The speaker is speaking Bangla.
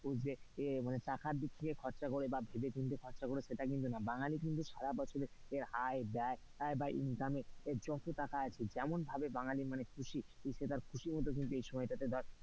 মানুষ যে টাকার দিক থেকে খরচা করে বা ভেবেচিন্তে খরচা করে সেটা কিন্তু নয়। বাঙালি কিন্তু সার বছরের আয় ব্যায় বা income এর যত টাকা আছে যেমনভাবে বাঙালি মানে খুশি খুশি মত,